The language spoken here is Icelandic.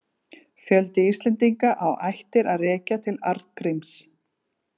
Fjöldi Íslendinga á ættir að rekja til Arngríms.